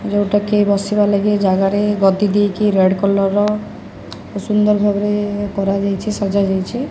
ଯୋଉଟା କି ବସିବା ଲାଗି ଏ ଜାଗା ରେ ଗଦି ଦିହିକି ରେଡ କଲର ର ସୁନ୍ଦର ଭାବରେ କରା ଯାଇଛି। ସଜା ଯାଇଛି।